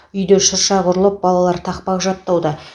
үйде шырша құрылып балалар тақпақ жаттауда